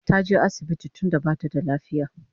Taje asibiti tunda bata da lafiya